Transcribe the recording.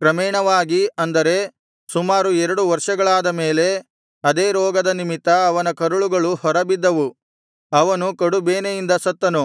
ಕ್ರಮೇಣವಾಗಿ ಅಂದರೆ ಸುಮಾರು ಎರಡು ವರ್ಷಗಳಾದ ಮೇಲೆ ಆದೇ ರೋಗದ ನಿಮಿತ್ತ ಅವನ ಕರುಳುಗಳು ಹೊರಬಿದ್ದವು ಅವನು ಕಡುಬೇನೆಯಿಂದ ಸತ್ತನು